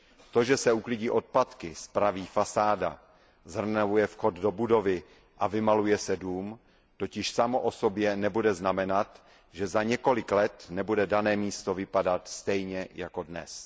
To, že se uklidí odpadky, spraví fasáda, zrenovuje vchod do budovy a vymaluje se dům totiž samo o sobě nebude znamenat, že za několik let nebude dané místo vypadat stejně jako dnes.